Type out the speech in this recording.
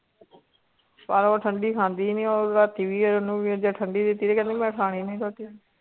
ਪਰ ਉਹ ਠੰਢੀ ਖਾਂਦੀ ਨੀ ਉਹ ਰਾਤੀ ਵੀ ਉਹਨੂੰ ਜੇ ਠੰਢੀ ਦਿੱਤੀ ਤੇ ਕਹਿੰਦੀ ਮੈਂ ਖਾਣੀ ਨੀ ਰੋਟੀ।